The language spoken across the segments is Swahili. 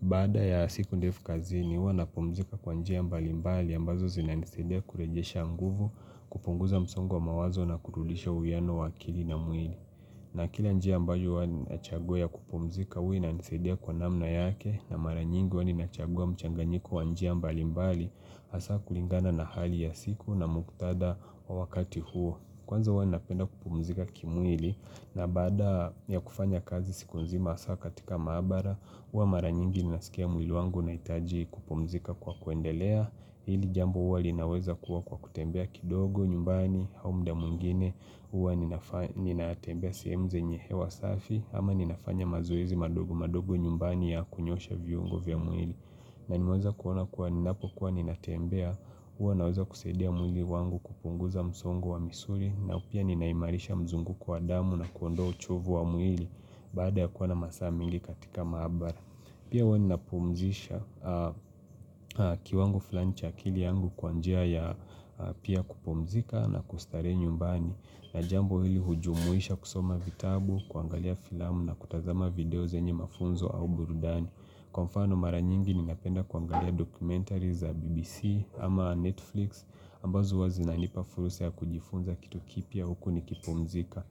Baada ya siku ndefu kazini huwa napumzika kwa njia mbali mbali ambazo zinanisadia kurejesha nguvu kupunguza msongo wa mawazo na kurudisha uwiano wa akili na mwili. Na kila njia ambayo hiwa ninachagua ya kupumzika huwa inanisaidia kwa namna yake na mara nyingi huwa ninachagua mchanganyiko wa njia mbali mbali hasa kulingana na hali ya siku na muktada wa wakati huo. Kwanza uwa ninapenda kupumzika kimwili na baada ya kufanya kazi siku nzima asa katika maabara Uwa mara nyingi ninasikia mwili wangu nahitaji kupumzika kwa kuendelea Hili jambo uwa linaweza kuwa kwa kutembea kidogo nyumbani au mda mwingine Uwa ninatembea sehemu zenye hewa safi ama ninafanya mazoezi madogo madogo nyumbani ya kunyoosha viungo vya mwili na nimeweza kuona kuwa ninapokuwa ninatembea Uwa naweza kusaidia mwili wangu kupunguza msongo wa misuli na pia ninaimarisha mzunguko wa damu na kuondoa uchovu wa mwili Baada ya kuwa na masaa mbili katika ya maabara Pia hiwa ninapumzisha kiwango flani cha aili yangu kwa njia ya pia kupumzika na kustarehe nyumbani na jambo hili hujumuisha kusoma vitabu, kuangalia filamu na kutazama video zenye mafunzo au burudani Kwa mfano mara nyingi ninapenda kuangalia dokumentari za BBC ama Netflix ambazo uwa unanipa fursa ya kujifunza kitu kipya huku nikipumzika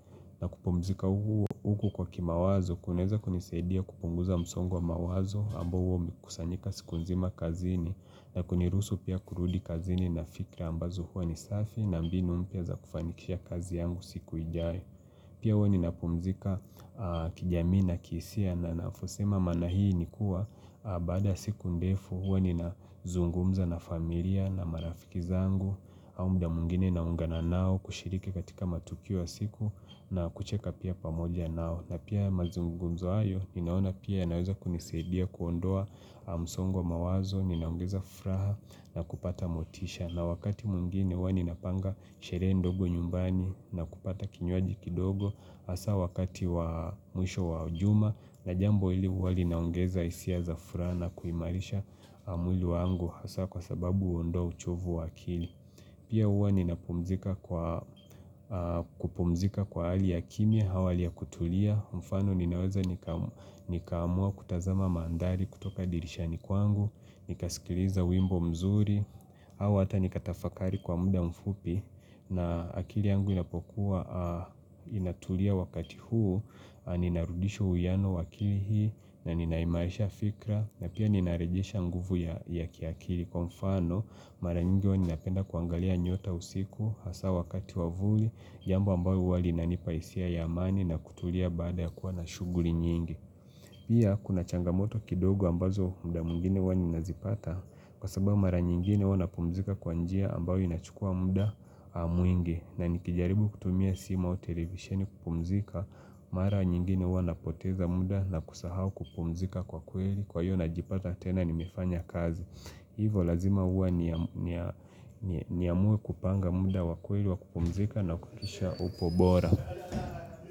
na kupumzika huku kwa kimawazo kuneza kunisaidia kupunguza msongwa wa mawazo ambao huwa umekusanyika siku nzima kazini na kuniruhusu pia kurudi kazini na fikra ambazo huwa ni safi na mbini mpya za kufanikisha kazi yangu siku ijayo Pia huwa ninapumzika kijamii na kihisia na navosema manaana hii ni kuwa baada ya siku ndefu huwa ninazungumza na familia na marafiki zangu au mda mwingine na ungana nao kushiriki katika matukio ya siku na kucheka pia pamoja nao na pia mazungumzo hayo ninaona pia ya naweza kunisaidia kuondoa msongo wa mawazo, ninaongeza furaha na kupata motisha na wakati mwingine huwa ninapanga sherehe ndogo nyumbani na kupata kinywaji kidogo Hasa wakati wa mwisho wa jumaa na jambo ili huwa linaongeza hisia za furaha na kuimarisha mwili wangu Hasa kwa sababu uondoa uchovu wa akili Pia huwa ninapumzika kwa kupumzika kwa ali ya kimya au hali ya kutulia mfano ninaweza nikaamua kutazama mandari kutoka dirishani kwangu Nikasikiliza wimbo mzuri au hata nikatafakari kwa muda mfupi na akili yangu inapokuwa inatulia wakati huu ninarudisha uwiano wa akili hii na ninaimaisha fikra na pia ninarejisha nguvu ya kiakili Kwa mfano mara nyingi wa ninapenda kuangalia nyota usiku hasa wakati wavuli jambo ambayo huwa inanipahisia ya amani na kutulia baada ya kuwa na shughuli nyingi Pia kuna changamoto kidogo ambazo muda mwngine huwa ninazipata Kwa sababu mara nyingine huwa ninapumzika kwa njia ambao inachukua muda mwingi na nikijaribu kutumia simu au televisheni kupumzika Mara nyingine huwa na poteza muda na kusahau kupumzika kwa kweli Kwa hiyo najipata tena nimefanya kazi Hivo lazima uwa niamue kupanga muda wa kweli wa kupumzika na kutisha upo bora.